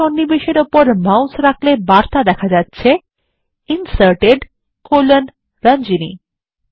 এই সন্নিবেশ উপরে মাউস রাখলে বার্তা দেয় Inserted রঞ্জনী